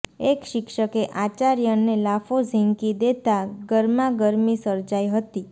એક શિક્ષકે આચાર્યને લાફો ઝીંકી દેતા ગરમાગરમી સર્જાઈ હતી